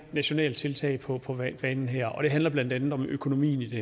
nationale tiltag på banen her og det handler blandt andet om økonomien i det